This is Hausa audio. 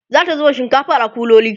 zata zuba shinkafar a kuloli